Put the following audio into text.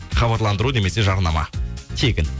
хабарландыру немесе жарнама тегін